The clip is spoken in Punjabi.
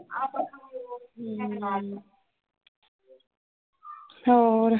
ਹੋਰ?